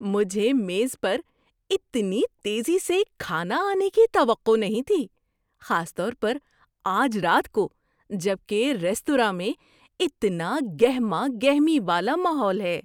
مجھے میز پر اتنی تیزی سے کھانا آنے کی توقع نہیں تھی، خاص طور پر آج رات کو جب کہ ریستوراں میں اتنا گہما گہمی والا ماحول ہے۔